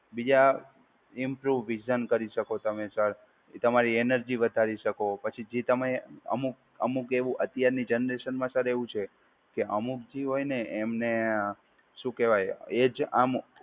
બીજા improve vision કરી શકો તમે સર. એ તમારી એનર્જી વધારી શકો. પછી જે તમે અમુક અમુક એવું અત્યારની જનરેશનમાં સર એવું છે કે અમુક જે હોય ને એમને શું કહેવાય એ જ આમ